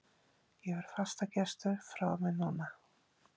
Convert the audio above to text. Ég verð fastagestur frá og með núna!